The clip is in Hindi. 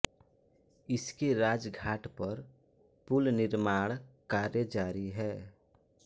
इसके राजघाट पर पुल निर्माण कार्य जारी है